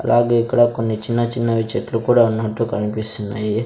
అలాగే ఇక్కడ కొన్ని చిన్న చిన్నవి చెట్లు కూడా ఉన్నట్టు కనిపిస్తున్నాయి.